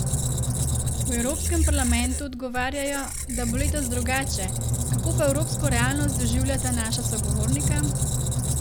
V Evropskem parlamentu odgovarjajo, da bo letos drugače, kako pa evropsko realnost doživljata naša sogovornika?